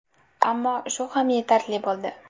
Ammo shu ham yetarli bo‘ldi.